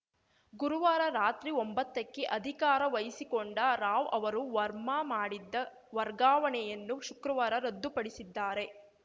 ಗುರುವಾರ ರಾತ್ರಿ ಒಂಬತ್ತಕ್ಕೆ ಅಧಿಕಾರ ವಹಿಸಿಕೊಂಡ ರಾವ್‌ ಅವರು ವರ್ಮಾ ಮಾಡಿದ್ದ ವರ್ಗಾವಣೆಯನ್ನು ಶುಕ್ರವಾರ ರದ್ದುಪಡಿಸಿದ್ದಾರೆ